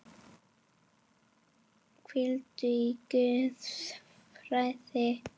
Hvíldu í Guðs friði.